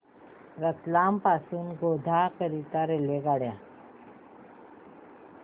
रतलाम पासून गोध्रा करीता रेल्वेगाड्या